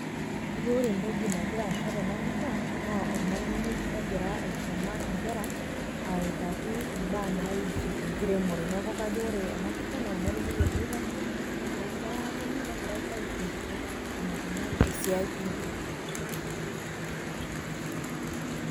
Kajo ore entoki nagira aasa tenapisha, naa ormalimui ogira aisuma inkera, autaki imbaa naiusu enkiremore. Neeku kajo ore enapisha na ormalimui ele oitashe, negira nkera atoni, negira ai fundisha ,enaikunari esiai enkiremore.